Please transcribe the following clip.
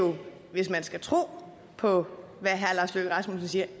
hvis man skal tro på hvad herre lars løkke rasmussen siger